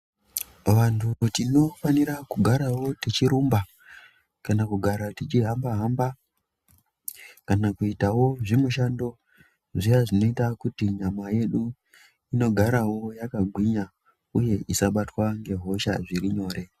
Vantu tinofanira kugarawo tichirumba kana kugara tichihamba hamba kana kuitawo zvimushando zviya zvinoita kuti nyama yedu indogarawo yakagwinya uye isabatwa ngehosha zviri nyore.